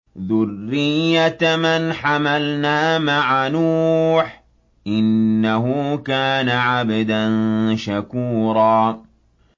ذُرِّيَّةَ مَنْ حَمَلْنَا مَعَ نُوحٍ ۚ إِنَّهُ كَانَ عَبْدًا شَكُورًا